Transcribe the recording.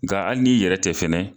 Nga ali n'i yɛrɛ tɛ fɛnɛ